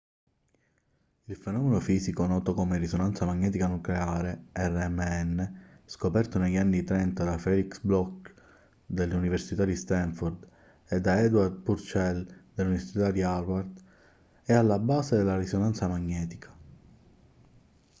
il fenomeno fisico noto come risonanza magnetica nucleare rmn scoperto negli anni '30 da felix bloch dell'università di stanford e da edward purcell dell'università di harvard è alla base della risonanza magnetica